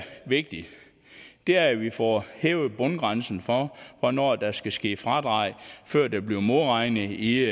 vigtigt er at vi får hævet bundgrænsen for hvornår der skal ske fradrag før der bliver modregnet i